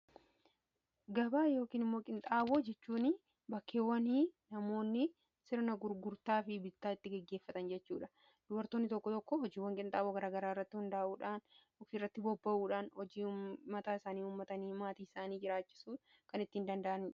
Gabaa yookiin daldala qinxaaboo jechuun, bakka namoonni sirna bittaa fi gurgurtaa itti gaggeessan jechuudha. Dubartoonni tokko tokko hojiiwwan daldala qinxaaboo garaa garaa irratti hundaa'uun, dandeettii isaaniitti fayyadamanii hojii mataa isaanii uumuun maatii isaanii ittiin jiraachisaa jiru.